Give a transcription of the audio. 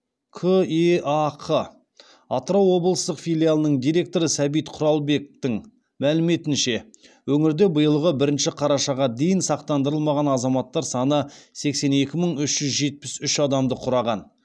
кеақ атырау облыстық филиалының директоры сәбит құралбектің мәліметінше өңірде биылғы бірінші қарашаға дейін сақтандырылмаған азаматтар саны сексен екі мың үш жүз жетпіс үш адамды құраған